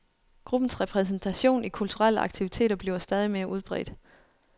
Gruppens repræsentation i kulturelle aktiviteter bliver stadig mere udbredt.